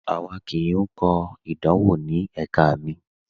A kò lọ lati kọ idanwọ ni ẹ̀kà mi.